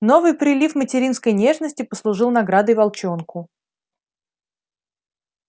новый прилив материнской нежности послужил наградой волчонку